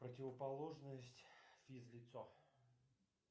противоположность физлицо